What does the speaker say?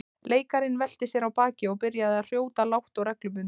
Leikarinn velti sér á bakið og byrjaði að hrjóta lágt og reglubundið.